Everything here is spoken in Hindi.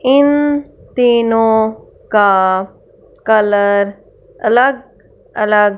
इन तीनों का कलर अलग अलग--